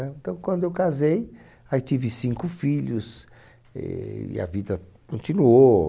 então, quando eu casei, aí tive cinco filhos e e a vida continuou.